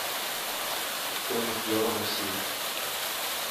стоимость евро в россии